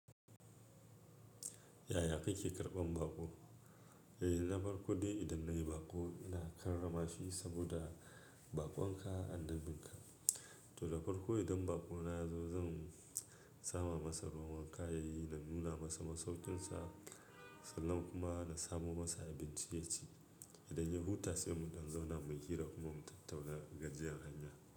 Yaya kike karɓan baƙo? Eh, na farko dai idan na yi baƙo ina karrama shi saboda baƙon ka annabinka. To da farko idan baƙona ya zo zan sama masa ruwa wanka yayi na nuna masa masaukinsa, sannan kuma na samo masa abincin ya ci. Idan ya huta sai muɗan zauna mu yi hira kuma mu tattauna gajiyar hanya.